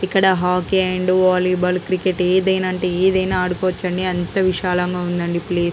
ఇక్కడ hockey and volleyball cricket ఏదైనా అంటే ఏదైనా ఆడుకోవచ్చండి. అంత విశాలంగా ఉందండి ప్లేస్ .